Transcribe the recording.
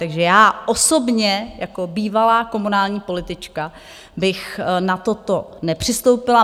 Takže já osobně jako bývalá komunální politička bych na toto nepřistoupila.